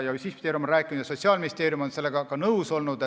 Justiitsministeerium on seda rääkinud ja Sotsiaalministeerium on sellega ka nõus olnud.